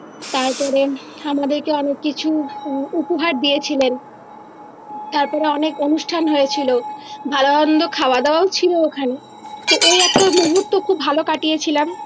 তারপরে আমাদেরকে অনেক কিছু উ উপহার দিয়েছিলেন তারপরে অনেক অনুষ্ঠান হয়েছিলো ভালো মন্দ খাওয়া দাওয়াও ছিলো ওখানে তো ওই একটা মুহুত খুব ভালো কাটিয়ে ছিলাম